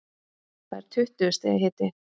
Það er tuttugu stiga hiti.